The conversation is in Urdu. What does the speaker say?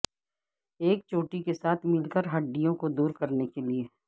ایک چوٹی کے ساتھ مل کر ہڈیوں کو دور کرنے کے لئے